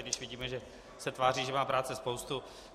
I když vidíme, že se tváří, že má práce spoustu.